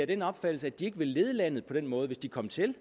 den opfattelse at de ikke vil lede landet på den måde hvis de kom til